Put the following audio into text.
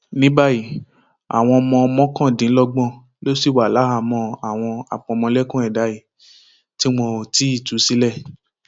ní báyìí àwọn ọmọ mọkàndínlọgbọn ló ṣì wà láhàámọ àwọn àpamọlẹkùn ẹdà yìí tí wọn ò tí ì tú sílẹ